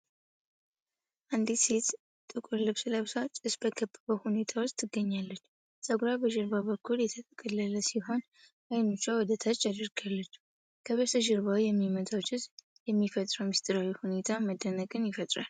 አንዲት ሴት ጥቁር ልብስ ለብሳ፣ ጭስ በከበበው ሁኔታ ውስጥ ትገኛለች። ፀጉሯ በጀርባ በኩል የተጠቀለለ ሲሆን አይኖቿን ወደ ታች አድርጋለች። ከበስተጀርባው የሚወጣው ጭስ የሚፈጥረው ምስጢራዊ ሁኔታ መደነቅን ይፈጥራል።